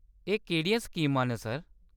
एह्‌‌ केह्‌‌ड़ियां स्कीमां न, सर ?